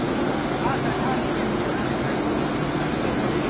Aha, hə, hə, hə, hə, hə.